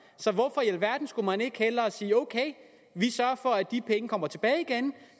så hvorfor i alverden skulle man ikke hellere sige ok vi sørger for at de penge kommer tilbage igen